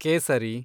ಕೇಸರಿ